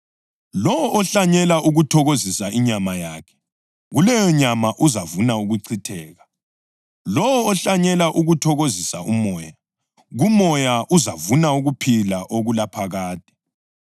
Lowo ohlanyela ukuthokozisa inyama yakhe, kuleyonyama uzavuna ukuchitheka; lowo ohlanyela ukuthokozisa uMoya, kuMoya uzavuna ukuphila okulaphakade.